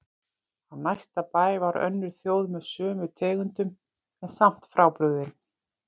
Á næsta bæ var önnur þjóð með sömu tegundum en samt frábrugðin.